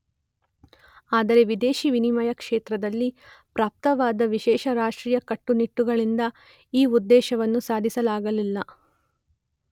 ಆದರೆ ವಿದೇಶಿ ವಿನಿಮಯ ಕ್ಷೇತ್ರದಲ್ಲಿ ಪ್ರಾಪ್ತವಾದ ವಿಶೇಷ ರಾಷ್ಟ್ರೀಯ ಕಟ್ಟುನಿಟ್ಟುಗಳಿಂದ ಈ ಉದ್ದೇಶವನ್ನು ಸಾಧಿಸಲಾಗಲಿಲ್ಲ.